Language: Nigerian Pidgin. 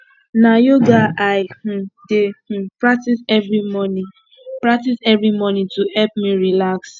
na yoga i um dey um practice every morning practice every morning to help me relax